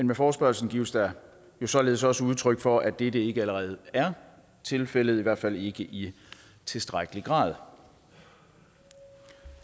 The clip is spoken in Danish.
med forespørgslen gives der jo således også udtryk for at dette ikke allerede er tilfældet i hvert fald ikke i tilstrækkelig grad